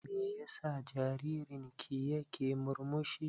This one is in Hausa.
Me ya sa jaririn ki ya ke murmushi?